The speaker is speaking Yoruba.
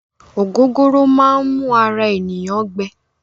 Ògógóró máá n mú ara ènìyàn gbẹ.